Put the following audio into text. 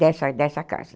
Dessa dessa casa.